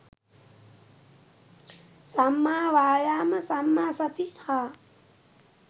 සම්මා වායාම සම්මා සති හා